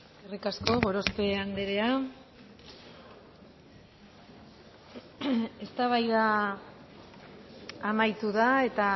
eskerrik asko gorospe andrea eztabaida amaitu da eta